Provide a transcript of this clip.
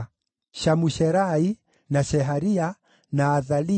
Shamusherai, na Sheharia, na Athalia,